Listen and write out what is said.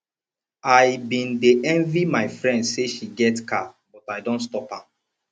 i bin dey envy my friend say she get car but i don stop am